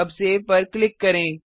अब सेव पर क्लिक करें